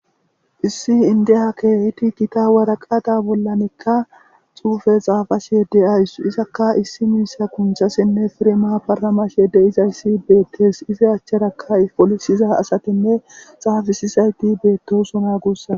Issi indeha keeiti gita waraqada bollanekka xuufe xaafa shyede ayssu isakka issi miisa kunchasinne firema paramashyede izayssi beettes izi achcharaka folisiza asatinne xaafisisayti beettosona guussaa.